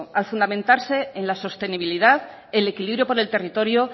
al fundamentarse en la sostenibilidad el equilibrio por el territorio